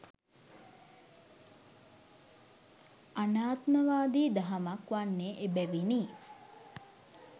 අනාත්මවාදි දහමක් වන්නේ එබැවිනි.